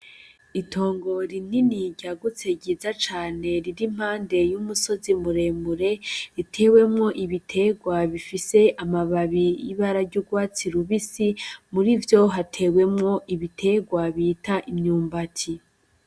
Itongo rinini ryagutse ryiza cane riri impande y’umusozi muremure ritewemwo ibiterwa bifise amababi y’ibara ry’urwatsi rubisi , muri vyo hatewemwo ibiterwa vyitwa imyumbati.